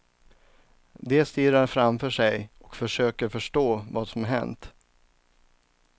De stirrar framför sig och försöker förstå vad som hänt.